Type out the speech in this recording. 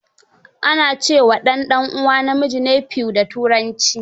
Ana ce wa ɗan ɗanuwa namiji nephew da Turanci.